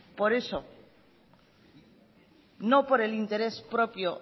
por eso no por el interés propio